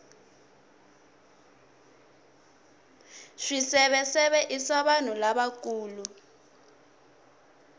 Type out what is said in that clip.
swiseveseve i swa vanhu lavakulu